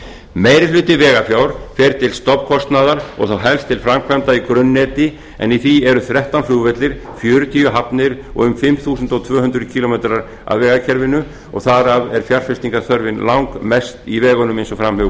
meiri hluti vegafjár fer til stofnkostnaðar og þá helst til framkvæmda í grunnneti en í því eru þrettán flugvellir fjörutíu hafnir og um fimm þúsund tvö hundruð kílómetra af vegakerfinu og þar af er fjárfestingarþörfin langmest í vegunum eins og fram hefur